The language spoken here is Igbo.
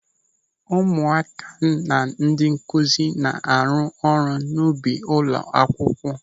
Ụmụaka na ndị nkụzi na-arụ ọrụ n'ubi ụlọ akwụkwọ.